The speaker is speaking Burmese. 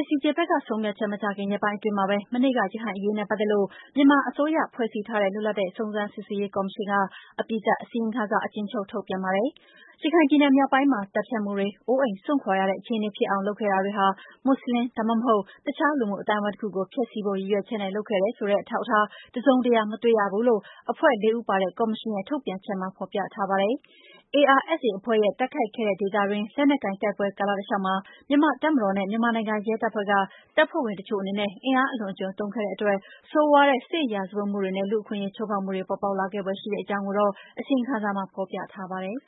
ICJ ဘက်ကဆုံးဖြတ်ချက်မချခင် ရက်ပိုင်းအတွင်းမှာပဲ မနေ့က ရခိုင်အရေးနဲ့ပတ်သက်လို့ မြန်မာအစိုးရ ဖွဲ့စည်းထားတဲ့ လွတ်လပ်တဲ့ စုံစမ်းစစ်ဆေးရေးကော်မရှင်က အပြီးသတ်အစီရင်ခံစာ အကျဉ်းချုပ် ထုတ်ပြန်ပါတယ်။ ရခိုင်ပြည်နယ်မြောက်ပိုင်းမှာ သတ်ဖြတ်မှုတွေ၊ အိုးအိမ်စွန့်ခွာရတဲ့ အခြေအနေဖြစ်အောင် လုပ်ခဲ့တာတွေဟာ မွတ်ဆလင်၊ ဒါမှမဟုတ် တခြားလူမှုအသိုင်းအဝိုင်းတခုကို ဖျက်ဆီးဖို့ ရည်ရွယ်ချက်နဲ့ လုပ်ခဲ့တယ်ဆိုတဲ့ အထောက်အထား တစုံတရာ မတွေ့ရဘူးလို့ အဖွဲ့ဝင် ၄ ဦးပါတဲ့ ကော်မရှင်ရဲ့ ထုတ်ပြန်ချက်မှာ ဖော်ပြထားပါတယ်။ ARSA အဖွဲ့နဲ့ တိုက်ခိုက်ခဲ့တဲ့ ဒေသအတွင်း လက်နက်ကိုင်တိုက်ပွဲ ကာလတလျှောက်မှာ မြန်မာ့တပ်မတော်နဲ့ မြန်မာနိုင်ငံရဲတပ်ဖွဲ့က တပ်ဖွဲ့ဝင်တချို့အနေနဲ့ အင်အားအလွန်အကျွံ သုံးခဲ့တဲ့အတွက် ဆိုးဝါးတဲ့ စစ်ရာဇဝတ်မှုနဲ့ လူ့အခွင့်အရေးချိုး ဖေါက်မှုတွေ ပေါ်ပေါက်လာခဲ့ဖွယ် ရှိတဲ့အကြောင်းကိုတော့ အစီရင်ခံစာမှာ ဖေါ်ပြထားပါတယ်။